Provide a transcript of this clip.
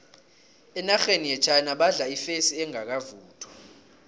enarheni yechina badla ifesi engakavuthwa